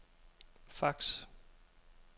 fax